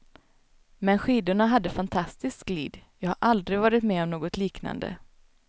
Men skidorna hade fantastiskt glid, jag har aldrig varit med om något liknande.